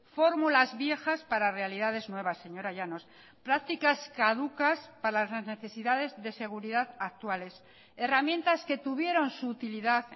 fórmulas viejas para realidades nuevas señora llanos prácticas caducas para las necesidades de seguridad actuales herramientas que tuvieron su utilidad